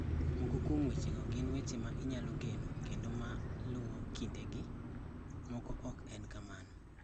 Moko kuom wechego gin weche ma inyalo geno kendo ma luwo kindegi; moko ok en kamano.